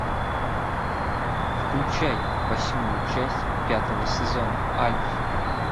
включай восьмую часть пятого сезона альф